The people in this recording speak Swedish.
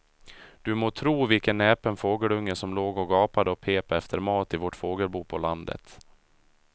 Du må tro vilken näpen fågelunge som låg och gapade och pep efter mat i vårt fågelbo på landet.